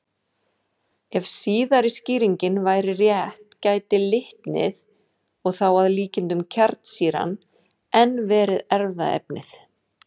Ef síðari skýringin væri rétt gæti litnið, og þá að líkindum kjarnsýran, enn verið erfðaefnið.